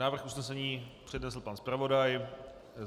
Návrh usnesení přednesl pan zpravodaj.